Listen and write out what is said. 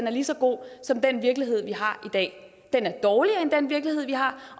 er lige så god som den virkelighed vi har i dag den er dårligere end den virkelighed vi har